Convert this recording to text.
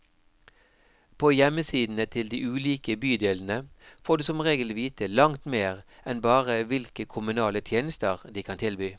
På hjemmesidene til de ulike bydelene får du som regel vite langt mer enn bare hvilke kommunale tjenester de kan tilby.